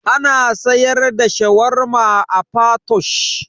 Ana siyar da shawarma a patoosh?